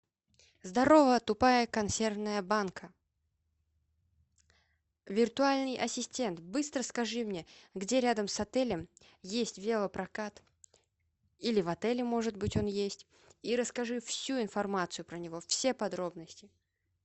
здорово тупая консервная банка виртуальный ассистент быстро скажи мне где рядом с отелем есть велопрокат или в отеле может быть он есть и расскажи всю информацию про него все подробности